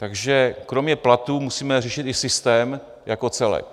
Takže kromě platů musíme řešit i systém jako celek.